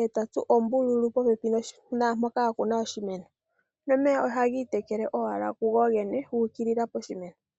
e ta tsu ombululu popepi naampoka a ku na oshimeno nomeya ohaga itekele owala kugogene gu ukilila poshimeno.